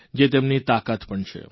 જે તેમની તાકાત પણ છે